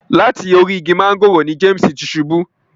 Lati orí ìgi mángòrò ni James ti ṣubù.